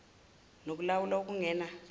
noku lawula okungena